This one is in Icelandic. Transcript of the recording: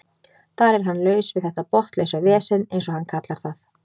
Þar er hann laus við þetta botnlausa vesen eins og hann kallar það.